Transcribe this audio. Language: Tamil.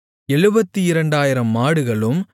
72000 மாடுகளும்